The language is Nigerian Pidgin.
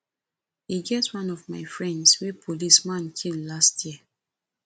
e get one of my friends wey policeman kill last year